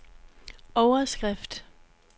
overskrift